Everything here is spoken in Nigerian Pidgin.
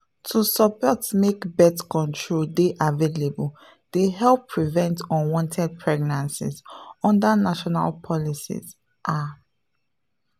to support make birth control dey available dey help prevent unwanted pregnancies under national policies ah pause.